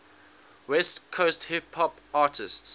west coast hip hop artists